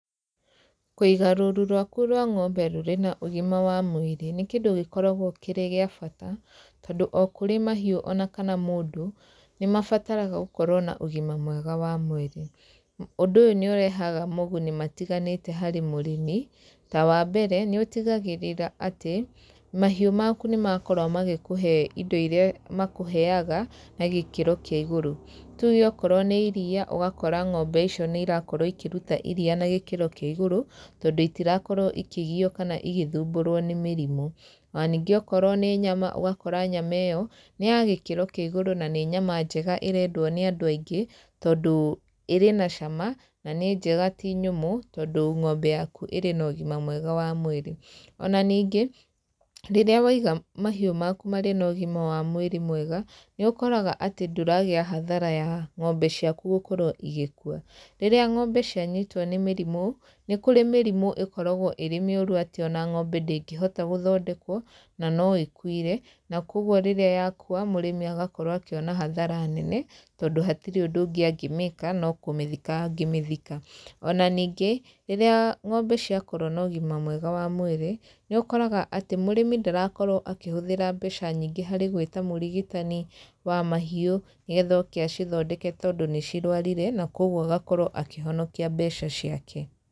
Kũiga rũru rwaku rwa ng'ombe rũrĩ na ũgima wa mwĩrĩ nĩ kĩndũ gĩkoragwo kĩrĩ gĩa bata, tondũ o kũrĩ mahiũ ona kana mũndũ, nĩ mabataraga gũkorwo na ũgima mwega wa mwĩrĩ. Ũndũ ũyũ nĩ ũrehaga moguni matiganĩte harĩ mũrĩmi, ta wa mbere, nĩ ũtigagĩrĩra atĩ, mahiũ maku nĩ makora magĩkũhe indo irĩa makũheaga, na gĩkĩro kĩa igũrũ. Tuge okorwo nĩ iriia, ũgakora ng'ombe icio nĩ irakorwo ikĩruta iriia na gĩkĩro kĩa igũrũ, tondũ itirakorwo ikĩgio kana igĩthumburwo nĩ mĩrimũ. Ona ningĩ okorwo nĩ nyama, ũgakora nyama ĩyo, nĩ ya gĩkĩro kĩa igũrũ na nĩ nyama njega ĩrendwo nĩ andũ aingĩ, tondũ ĩrĩ na cama, na nĩ njega ti nyũmũ, tondũ ng'ombe yaku ĩrĩ na ũgima mwega wa mwĩrĩ. Ona ningĩ, rĩrĩa waiga mahiũ maku marĩ na ũgima wa mwĩrĩ mwega, nĩ ũkoraga atĩ ndũragĩa hathara ya ng'ombe ciaku gũkorwo igĩkua. Rĩrĩa ng'ombe cianyitwo nĩ mĩrimũ, nĩ kũrĩ mĩrimũ ĩkoragwo ĩrĩ mĩũru atĩ ona ng'ombe ndĩngĩhota gũthondekwo, na no ĩkuire. Na kũguo rĩrĩa yakua, mũrĩmi agakorwo akĩona hathara nene, tondũ hatirĩ ũndũ ũngĩ angĩmĩka, no kũmĩthika angĩmĩthika. Ona ningĩ, rĩrĩa ng'ombe ciakorwo na ũgima mwega wa mwĩrĩ, nĩ ũkoraga atĩ mũrĩmi ndarakorwo akĩhũthĩra mbeca nyingĩ harĩ gwĩta mũrigitani wa mahiũ, nĩgetha oke acithondeke tondũ nĩ cirũarire na kũguo agakorwo akĩhonokia mbeca ciake.